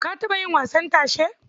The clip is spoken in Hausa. Ka taɓa yin wasan tashe?